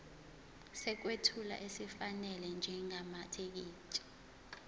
sokwethula esifanele njengamathekisthi